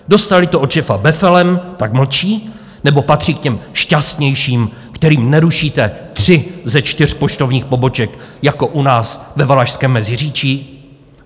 Dostali to od šéfa befelem, tak mlčí - nebo patří k těm šťastnějším, kterým nerušíte tři ze čtyř poštovních poboček jako u nás ve Valašském Meziříčí?